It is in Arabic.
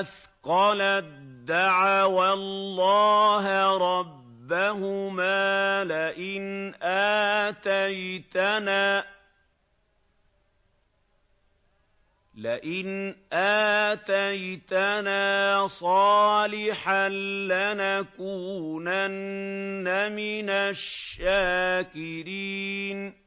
أَثْقَلَت دَّعَوَا اللَّهَ رَبَّهُمَا لَئِنْ آتَيْتَنَا صَالِحًا لَّنَكُونَنَّ مِنَ الشَّاكِرِينَ